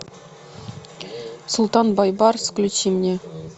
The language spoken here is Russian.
султан бейбарс включи мне